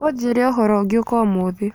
unjĩre ũhoro ũngĩũka ũmũthĩ.